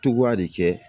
Togoya de kɛ